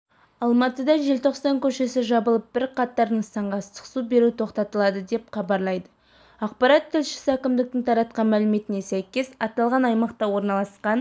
алматыда желтоқсан көшесі жабылып бірқатар нысанға ыстық су беру тоқтатылады деп хабарлайды ақпарат тілшісі әкімдіктің таратқан мәліметіне сәйкес аталған аймақта орналасқан